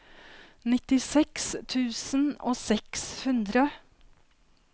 nittiseks tusen og seks hundre